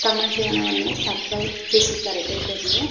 ತಮ ಜೀವನವನ್ನೇ ಸಮರ್ಪಿಸುತ್ತಾರೆ ಏಕೆಂದೆರೆ --